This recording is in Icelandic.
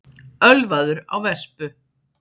Ölvaður á vespu